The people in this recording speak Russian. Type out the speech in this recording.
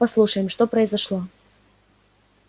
послушаем что произошло